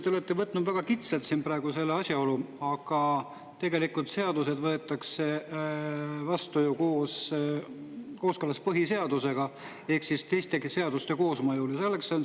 Te olete võtnud väga kitsalt selle asjaolu, aga tegelikult seadused võetakse vastu ju kooskõlas põhiseadusega ja ka teiste seadustega koosmõju.